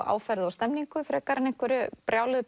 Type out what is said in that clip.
áferð og stemningu frekar en einhverju brjáluðu